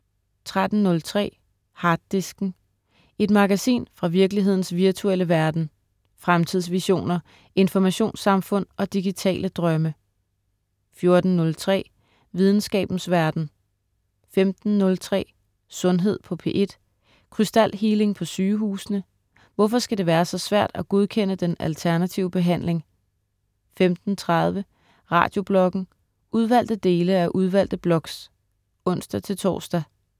13.03 Harddisken. Et magasin fra virkelighedens virtuelle verden. Fremtidsvisioner, informationssamfund og digitale drømme 14.03 Videnskabens verden* 15.03 Sundhed på P1. Krystalhealing på sygehusene? Hvorfor skal det være så svært at godkende den alternative behandling, 15.30 Radiobloggen. Udvalgte dele af udvalgte blogs (ons-tors)